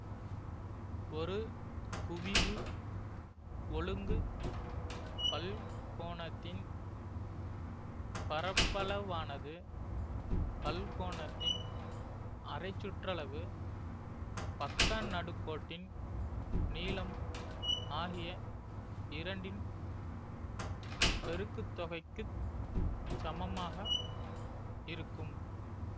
ஒரு குவிவு ஒழுங்கு பல்கோணத்தின் பரப்பளவானது பல்கோணத்தின் அரைச்சுற்றளவு பக்கநடுக்கோட்டின் நீளம் ஆகிய இரண்டின் பெருக்குத்தொகைக்குச் சமமாக இருக்கும்